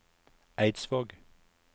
Eidsvåg